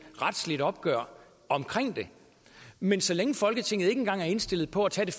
retsligt opgør om det men så længe folketinget ikke engang er indstillet på at tage